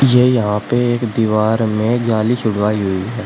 ये यहां पे एक दीवार में जाली छुड़वाई हुई है।